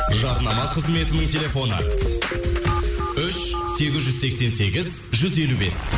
жарнама қызметінің телефоны үш сегіз жүз сексен сегіз жүз елу бес